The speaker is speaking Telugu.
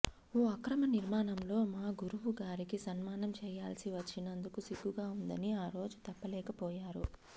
ఓ అక్రమ నిర్మాణంలో మా గురువు గారికి సన్మానం చేయాల్సి వచ్చినందుకు సిగ్గుగా ఉందని ఆరోజు చెప్పలేకపోయారు